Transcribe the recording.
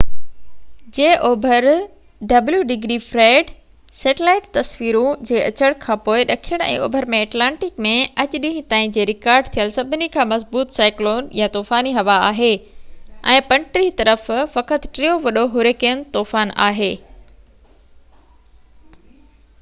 Fred, satellite تصويرون جي اچڻ کان پوءِ ڏکڻ ۽ اوڀر ۾ ايٽلانٽڪ ۾ اڄ ڏينهن تائين جي رڪارڊ ٿيل سڀني کان مضبوط سائيڪلون يا طوفاني هوا آهي، ۽ 35°w جي اوڀر طرف فقط ٽيون وڏو هُريڪين طوفان آهي